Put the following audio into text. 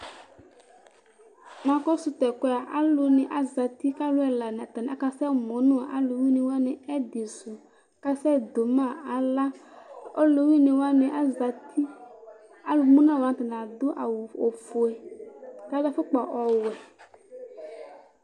Nakɔsʋ tʋ ɛkʋ yɛ a, alʋnɩ azati kʋ alʋ ɛla akasɛmʋ nʋ alʋwɩnɩ wanɩ ɛdɩsʋ kʋ akasɛdʋ ma aɣla Ɔlʋwɩnɩ wanɩ azati Alʋmʋ nʋ alʋ wanɩ nɩ adʋ awʋ ofue kʋ adʋ afʋkpa ɔwɛ